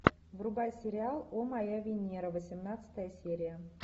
врубай сериал о моя венера восемнадцатая серия